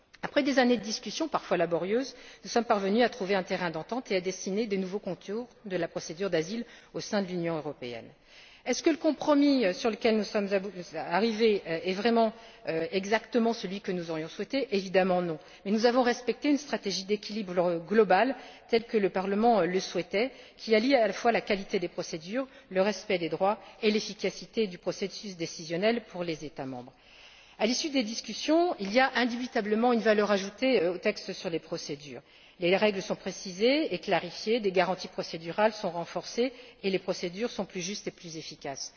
Après des années de discussions parfois laborieuses, nous sommes parvenus à trouver un terrain d'entente et à dessiner les nouveaux contours de la procédure d'asile au sein de l'Union européenne. Le compromis auquel nous sommes arrivés est il vraiment exactement celui que nous aurions souhaité? Évidemment que non! Mais nous avons respecté une stratégie d'équilibre global telle que le Parlement le souhaitait, qui allie à la fois la qualité des procédures, le respect des droits et l'efficacité du processus décisionnel pour les États membres. À l'issue des discussions, il y a indubitablement une valeur ajoutée aux textes sur les procédures les règles sont précisées et clarifiées, les garanties procédurales sont renforcées et les procédures sont plus justes et plus efficaces.